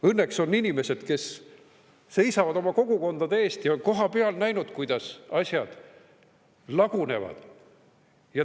Õnneks on inimesed, kes seisavad oma kogukondade eest ja on kohapeal näinud, kuidas asjad lagunevad.